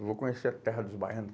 Eu vou conhecer a terra dos baiano.